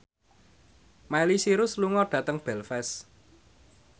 Miley Cyrus lunga dhateng Belfast